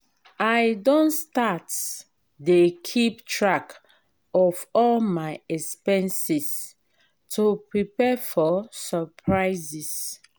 i don start dey keep track of all my expenses to prepare for surprises.